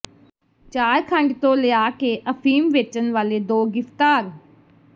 ਝਾਰਖੰਡ ਤੋਂ ਲਿਆ ਕੇ ਅਫੀਮ ਵੇਚਣ ਵਾਲੇ ਦੋ ਗ਼ਿ੍ਫ਼ਤਾਰ